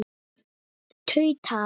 tautaði hann.